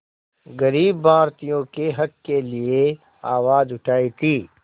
ग़रीब भारतीयों के हक़ के लिए आवाज़ उठाई थी